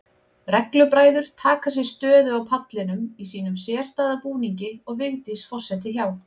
Reglubræður taka sér stöðu á pallinum í sínum sérstæða búningi og Vigdís forseti hjá.